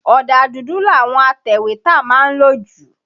Ọ̀dà dùdù làwọn atẹ̀wétà má ń lò jù.